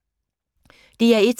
DR1